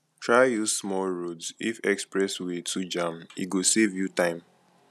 try use small roads if express way too jam e go save you time